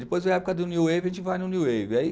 Depois veio a época do New Wave, a gente vai no New Wave. aí